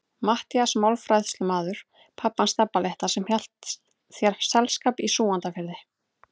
Matthías málafærslumaður, pabbi hans Stebba litla sem hélt þér selskap í Súgandafirðinum.